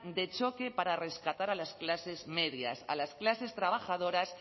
de choque para rescatar a las clases medias a las clases trabajadoras